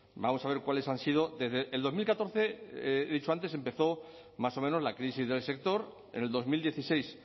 vamos a ver cuáles han sido desde el dos mil catorce he dicho antes empezó más o menos la crisis del sector en el dos mil dieciséis